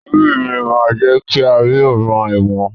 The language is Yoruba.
Orí mi má jẹ̀ kí n rí ọ̀ràn ẹ̀wọ̀n